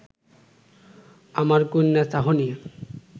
আমার কন্যার চাহনি